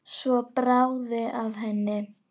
Svo bráði af henni.